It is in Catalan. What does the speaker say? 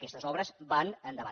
aquestes obres van endavant